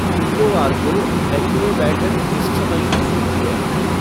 शुक्रवार को एक्मे बैठक किस समय शुरू होती है